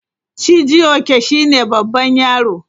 Chijioke shine babban yaro.